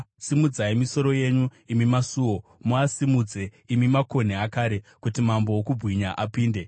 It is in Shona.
Simudzai misoro yenyu, imi masuo; muasimudze, imi makonhi akare, kuti Mambo wokubwinya apinde.